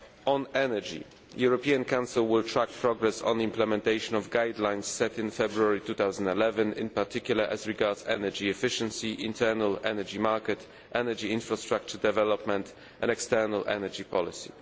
On energy, the European Council will track progress on the implementation of guidelines set in February 2011, in particular as regards energy efficiency, the internal energy market, energy infrastructure development and external energy policy.